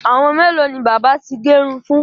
Àwọn mélòó ni bábà ti gẹ irun fún?